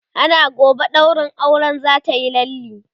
ana gobe ɗaurin auren zatayi lalle